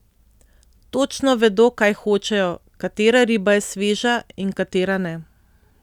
Točno vedo, kaj hočejo, katera riba je sveža in katera ne.